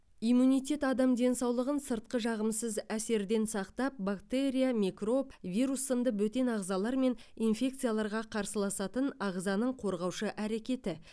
иммунитет адам денсаулығын сыртқы жағымсыз әсерден сақтап бактерия микроб вирус сынды бөтен ағзалар мен инфекцияларға қарсыласатын ағзаның қорғаушы әрекеті